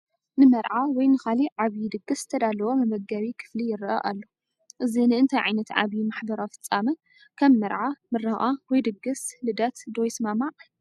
ንመርዓ ወይ ንኻልእ ዓብይ ድግስ ዝተዳለወ መመገቢ ክፍሊ ይረአ ኣሎ፡፡ እዚ ንእንታይ ዓይነት ዓቢይ ማሕበራዊ ፍጻመ (ከም መርዓ፡ ምረቓ ወይ ድግስ ልደት) ዶ ይሰማማዕ?